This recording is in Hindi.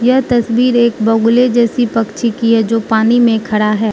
यह तस्वीर एक बगुले जैसी पक्षी की है जो पानी में खड़ा है।